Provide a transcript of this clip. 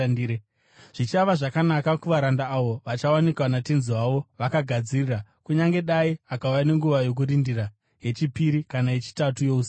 Zvichava zvakanaka kuvaranda avo vachawanikwa natenzi wavo vakagadzirira, kunyange dai akauya nenguva yokurindira yechipiri kana yechitatu yousiku.